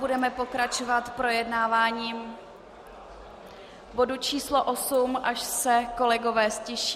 Budeme pokračovat projednáváním bodu číslo osm, až se kolegové ztiší.